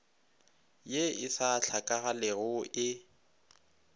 ye e sa hlakagalego e